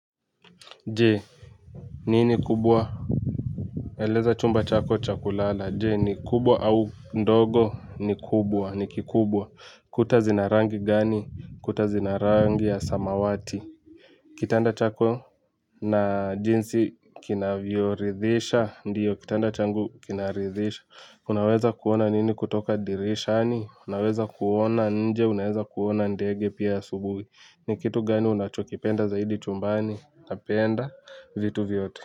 Je nini kubwa eleza chumba chako cha kulala je ni kubwa au ndogo ni kubwa ni kikubwa kuta zina rangi gani kutaz zina rangi ya samawati. Kitanda chako na jinsi kinavyoridhisha, ndiyo kitanda changu kinaridhisha. Unaweza kuona nini kutoka dirishani, unaweza kuona nje, unaweza kuona ndege pia asubuhi. Ni kitu gani unachokipenda zaidi chumbani, napenda vitu vyote.